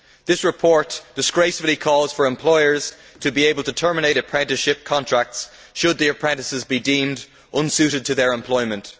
This report disgracefully calls for employers to be able to terminate apprenticeship contracts should the apprentices be deemed unsuited to their employment.